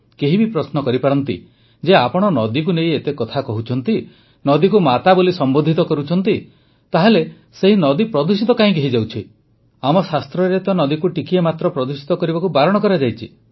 କେହି ବି ପ୍ରଶ୍ନ କରିପାରେ ଯେ ଆପଣ ନଦୀକୁ ନେଇ ଏତେ କଥା କହୁଛନ୍ତି ନଦୀକୁ ମାତା ବୋଲି ସମ୍ବୋଧିତ କରୁଛନ୍ତି ତାହେଲେ ସେହି ନଦୀ ପ୍ରଦୂଷିତ କାହିଁକି ହୋଇଯାଉଛି ଆମ ଶାସ୍ତ୍ରରେ ତ ନଦୀକୁ ଟିକିଏ ମାତ୍ର ପ୍ରଦୂଷିତ କରିବାକୁ ବାରଣ କରାଯାଇଛି